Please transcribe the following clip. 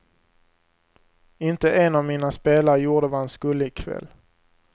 Inte en av mina spelare gjorde vad han skulle i kväll.